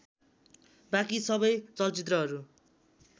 बाँकी सबै चलचित्रहरू